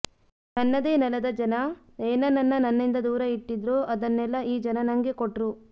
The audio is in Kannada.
ನನ್ನದೇ ನೆಲದ ಜನ ಏನೇನನ್ನ ನನ್ನಿಂದ ದೂರ ಇಟ್ಟಿದ್ರೋ ಅದನ್ನೆಲ್ಲಾ ಈ ಜನ ನಂಗೆ ಕೊಟ್ರು